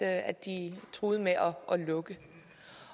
at de truede med at lukke